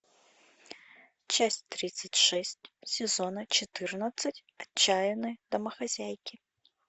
часть тридцать шесть сезона четырнадцать отчаянные домохозяйки